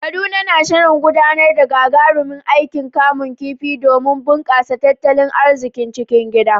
Kaduna na shirin gudanar da wani gagarumin aikin kamun kifi domin bunƙasa tattalin arzikin cikin gida.